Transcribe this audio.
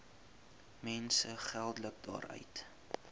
mense geldelik daaruit